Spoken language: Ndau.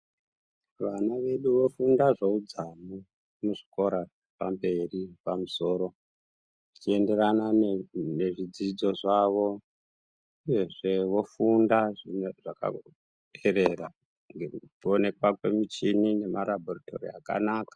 Vana vedu vofunda zveudzamu muzvikora pamberi pamusoro zvichienderana nezvidzidzo zvavo uyezve vofunda zvakaperera ngekuti kuonekwa kwemichini nemarabhoritori akanaka.